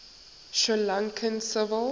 sri lankan civil